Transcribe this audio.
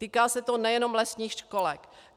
Týká se to nejenom lesních školek.